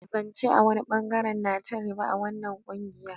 Zan ce a wani bangare na ci ribar wannan kungiya.